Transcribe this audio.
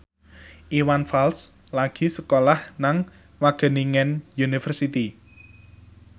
Iwan Fals lagi sekolah nang Wageningen University